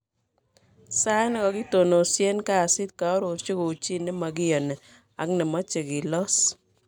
sait nekakitononsien kasiit, koarorchi kou chi nemagiyani ak nemache kilos